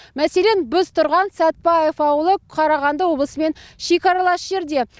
мәселен біз тұрған сәтбаев ауылы қарағанды облысымен шекаралас жерде